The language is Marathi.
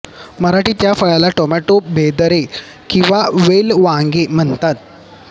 मराठीत या फळाला टोमॅटो भेदरे किंवा बेलवांगे म्हणतात